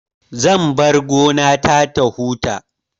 Zan bar gona ta ta huta